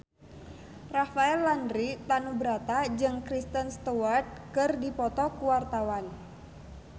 Rafael Landry Tanubrata jeung Kristen Stewart keur dipoto ku wartawan